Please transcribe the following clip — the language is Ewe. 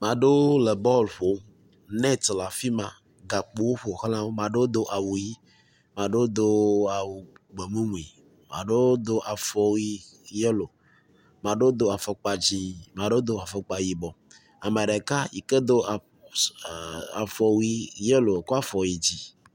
Amea ɖewo le bɔl ƒom, nɛt le afi ma, gakpowo ƒo xla wo, mea ɖewo do awu ʋɛ̃, mea ɖewo do awu gbemumui, mea ɖewo do afɔwui yelo, mea ɖewo do afɔkpa dzɛ̃, mea ɖewo do afɔkpa yibɔ. Ame ɖeka yike do afɔwui yelo kɔ afɔ yi dzi.